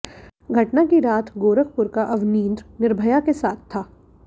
घटना की रात गोरखपुर का अवनींद्र निर्भया के साथ था